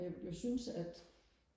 og jeg jeg synes at